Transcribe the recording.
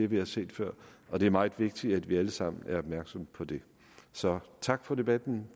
vi har set før og det er meget vigtigt at vi alle sammen er opmærksomme på det så tak for debatten